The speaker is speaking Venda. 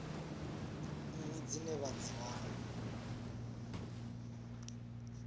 nnyi dzine vha dzi wana